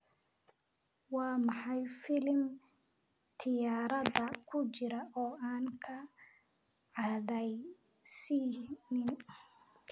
Waa maxay filim tiyaatarada ku jira oo aan kaa cadhaysiinin?